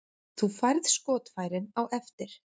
Þú færð skotfærin á eftir.